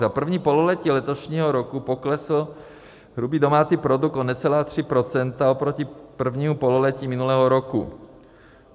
Za první pololetí letošního roku poklesl hrubý domácí produkt o necelá 3 % oproti prvnímu pololetí minulého roku.